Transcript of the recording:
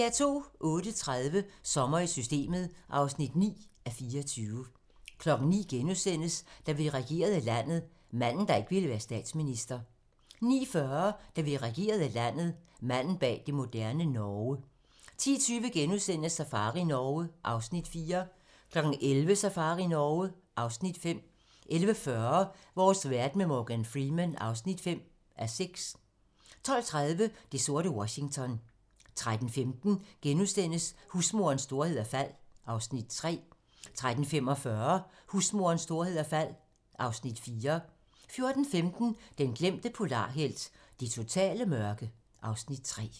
08:30: Sommer i Systemet (9:24) 09:00: Da vi regerede landet - manden, der ikke ville være statsminister * 09:40: Da vi regerede landet - Manden bag det moderne Norge 10:20: Safari Norge (Afs. 4)* 11:00: Safari Norge (Afs. 5) 11:40: Vores verden med Morgan Freeman (5:6) 12:30: Det sorte Washington 13:15: Husmorens storhed og fald (Afs. 3)* 13:45: Husmorens storhed og fald (Afs. 4) 14:15: Den glemte polarhelt: Det totale mørke (Afs. 3)